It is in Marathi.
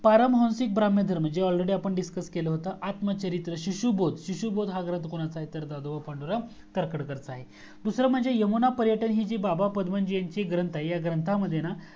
परहन्सिक ब्राम्हयं धर्म जे ALREADY आपण discuss केल होत आत्म चरित्र शिशु बोध शिशु बोध हा ग्रंथ कोणाचा आहे तर दादा साहेब पांडुरंग तरखडकर च आहे दूसरा म्हणजे यमुना पर्यटन ही बाबा परमजीत ची ग्रंथ आहे ह्या ग्रंथामध्ये ना